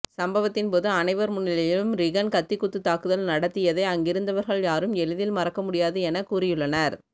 சம்பவத்தின் போது அனைவர் முன்னிலையிலும் ரிகன் கத்திக்குத்து தாக்குதல் நடத்தியதை அங்கிருந்தவர்கள் யாரும் எளிதில் மறக்க முடியாது என கூறியுள்ளனர்